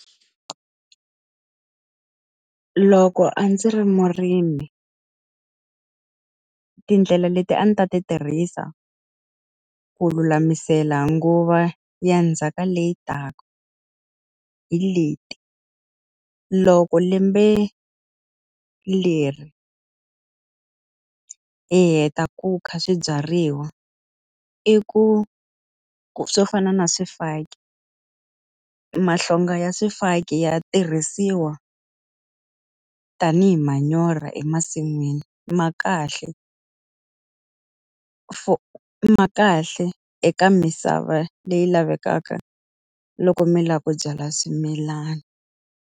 Loko a ndzi ri murimi, tindlela leti a ni ta ti tirhisa ku lulamisela nguva ya ndzhaka leyi taka hi leti. Loko lembe leri hi heta ku kha swibyariwa, i ku swo fana na swifaki, mahlonga ya swifaki ya tirhisiwa tanihi manyoro emasin'wini. Ma kahle ma kahle eka misava leyi lavekaka loko mi lava ku byala swimilana.